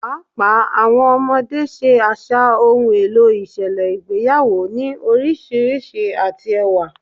Paapaa awọn ọmọde ṣe aṣa ohun elo iṣẹlẹ igbeyawo ni oriṣiriṣi ati ẹwa